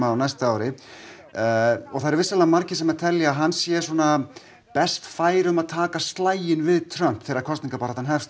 á næsta ári og það eru vissulega margir sem telja að hann sé best fær um að taka slaginn við Trump þegar kosningabaráttan hefst